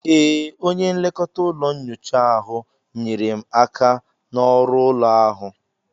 Ee, onye nlekọta ụlọ nyocha ahụ nyeere m aka na ọrụ ụlọ ahụ